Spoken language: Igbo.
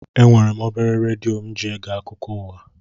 Enwere m obere redio mụ ji ege akụkọ ụwa